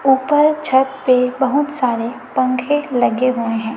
ऊपर छत पे बहुत सारे पंखे लगे हुए हैं।